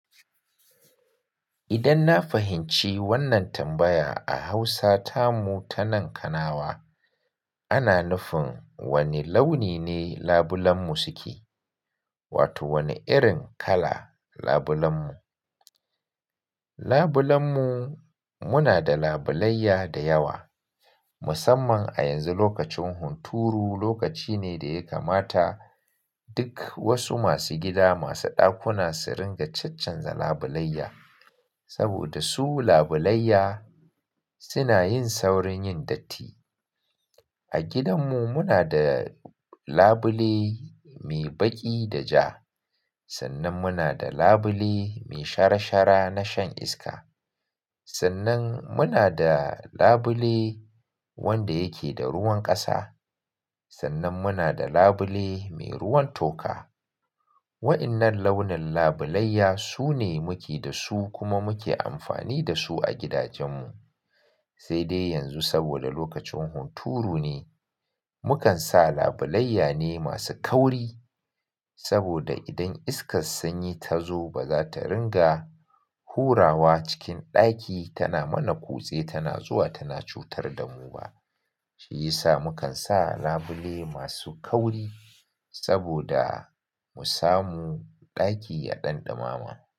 Idan na fahimci wannan tambaya a Hausa ta mu ta nan Kanawa, ana nufin wani launi ne labulen mu suke, wato wani irin kala labulen mu. Labulen mu, muna da labulayya da yawa musamman a yanzu lokacin hunturu. Lokaci ne da ya kamata duk wasu masu gida masu ɗakuna su ringa cancanza labulayya saboda su labulayya suna yin saurin yin datti. A gidanmu muna da labule mai baƙi da ja, sannan muna da labule mai shara shara na shan iska, sannan muna da labule wanda yake da ruwan ƙasa, sannan muna da labule mai ruwan toka. Wa'innan launin labulayya su ne muke da su kuma muke amfani da su a gidajen mu. Sai dai yanzu saboda lokacin hunturu ne, mukan sa labulayya ne masu kauri saboda idan iskar sanyi ta zo ba za ta ringa hurawa cikin ɗaki tana mana kutse tana zuwa tana cutar da mu ba. Shi ya sa mukan sa labule masu kauri saboda mu samu ɗaki a ɗan ɗimama.